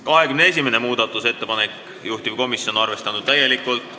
21. muudatusettepanek, juhtivkomisjon on täielikult arvestanud.